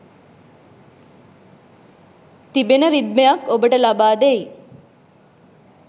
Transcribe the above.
තිබෙන රිද්මයක් ඔබට ලබා දෙයි.